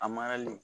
A marali